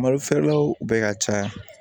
Malo feerelaw bɛ ka caya